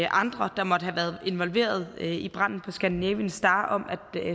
andre der måtte have været involveret i branden på scandinavian star om at